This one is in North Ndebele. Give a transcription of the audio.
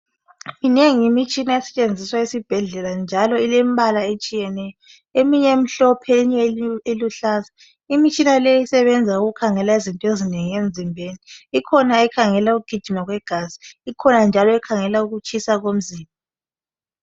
Minengi imitshina esetshenziswa esibhedlela njalo ilembala etshiyeneyo. Eminye imhlophe, eminye iluhlaza . Imitshina leyi isebenza ukukhangela izinto ezinengi emzimbeni. Ikhona ekhangela ukugijima kwegazi, ikhona njalo ekhangela ukutshisa komzimba.